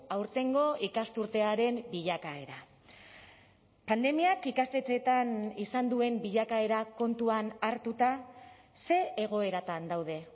aurtengo ikasturtearen bilakaera pandemiak ikastetxeetan izan duen bilakaera kontuan hartuta ze egoeratan daude